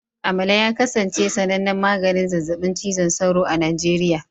Amalar ya kasance sanannen maganin zazzabin cizon sauro a Najeriya